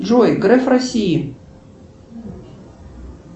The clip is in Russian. джой граф россии